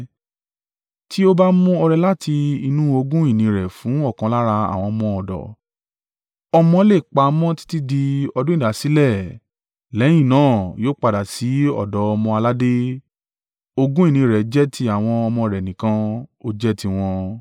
Tí ó bá mú ọrẹ láti inú ogún ìní rẹ̀ fún ọ̀kan lára àwọn ọmọ ọ̀dọ̀, ọmọ le pamọ́ títí di ọdún ìdásílẹ̀, lẹ́yìn náà yóò padà sí ọ̀dọ̀ ọmọ-aládé. Ogún ìní rẹ̀ jẹ́ ti àwọn ọmọ rẹ̀ nìkan; ó jẹ́ tiwọn.